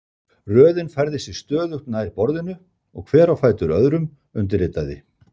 Röðin færði sig stöðugt nær borðinu og hver á fætur öðrum undirritaði.